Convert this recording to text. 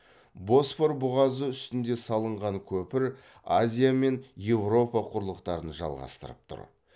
босфор бұғазы үстінде салынған көпір азия мен еуропа құрлықтарын жалғастырып тұр